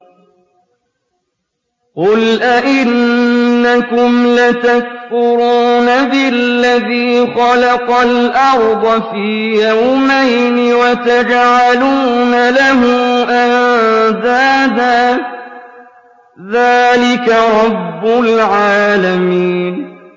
۞ قُلْ أَئِنَّكُمْ لَتَكْفُرُونَ بِالَّذِي خَلَقَ الْأَرْضَ فِي يَوْمَيْنِ وَتَجْعَلُونَ لَهُ أَندَادًا ۚ ذَٰلِكَ رَبُّ الْعَالَمِينَ